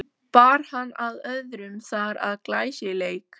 Bar hann af öðrum þar að glæsileik.